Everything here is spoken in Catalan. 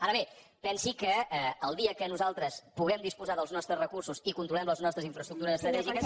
ara bé pensi que el dia que nosaltres puguem disposar dels nostres recursos i controlem les nostres infraestructures estratègiques